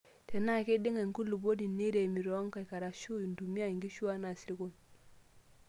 Tenaa keiding'a enkulupuoni, neiremi toonkaik arashu intumia nkishu anaa isirkon.